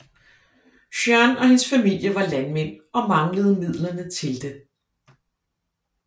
Jeanne og hendes familie var landmænd og manglede midlerne til det